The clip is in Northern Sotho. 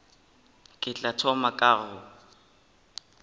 ke tla thoma ka go